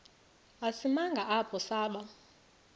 isimanga apho saba